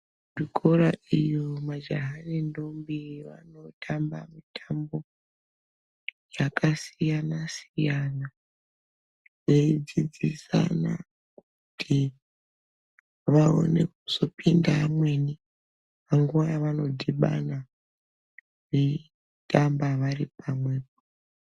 Kuchikora iyo majaha nendombi vanotamba mutambo yakasiyana siyana veidzidzisana kuti vaone kuzopinda vamweni panguwa yavanodhibana veitamba vari pamwe.